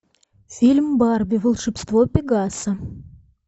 фильм барби волшебство пегаса